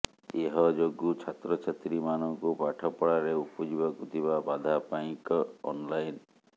ଏହଯୋଗୁଁ ଛାତ୍ରଛାତ୍ରୀମାନଙ୍କୁ ପାଠପଢାରେ ଉପୁଜିବାକୁ ଥିବା ବାଧା ପାଇଁ କ୍ ଅନଲାଇନ୍